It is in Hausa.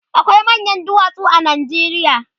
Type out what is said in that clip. akwai manyan duwatsu a Najeriya